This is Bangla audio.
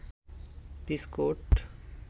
বিস্কুট